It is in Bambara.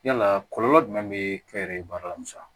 Yala kɔlɔlɔ jumɛn be kɛ yɛrɛ ye baara la